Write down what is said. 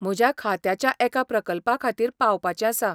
म्हज्या खात्याच्या एका प्रकल्पाखातीर पावपाचें आसा.